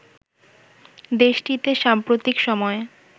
দেশটিতে সাম্প্রতিক সময়ে